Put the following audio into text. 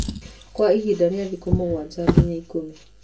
Kwa ihinda rĩa thikũ mũgwanja nginya ikũmi.